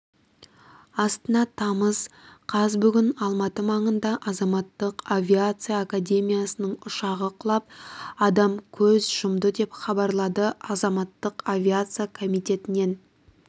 астана тамыз қаз бүгін алматы маңында азаматтық авиация академиясының ұшағы құлап адам көз жұмды деп хабарлады азаматтық авиация комитетінен